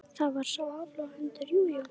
Það var sá áflogahundur, jú, jú.